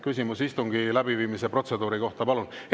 Küsimus istungi läbiviimise protseduuri kohta, palun!